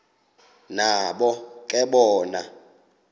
nabo ke bona